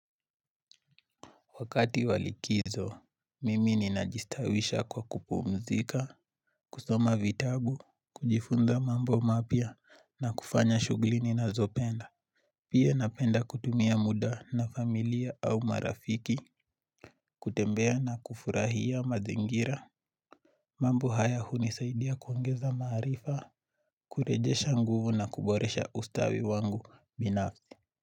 Wakati walikizo, mimi ni najistawisha kwa kupumzika, kusoma vitagu, kujifunza mambo mapya na kufanya shuglini na zopenda. Pia napenda kutumia muda na familia au marafiki, kutembea na kufurahia mazingira. Mambo haya hunisaidia kuongeza marifa, kurejesha nguvu na kuboresha ustawi wangu binafzi.